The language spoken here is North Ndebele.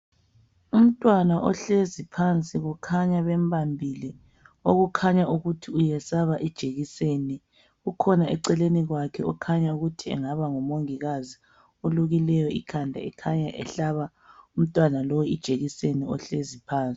Umntwana ohlezi phansi kukhanya bembambile okukhanya ukuthi uyesaba ijekiseni. Kukhona eceleni kwakhe okhanya ukuthi engaba ngumongikazi olukileyo ikhanda ekhanya ehlaba umntwana lo ijekiseni ohlezi phansi.